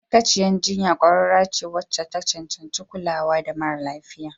Ma'aikacin jinya ƙwararre ce wacce ta cancanci kulawa da mara lafiya.